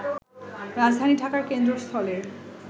রাজধানী ঢাকার কেন্দ্রস্থলের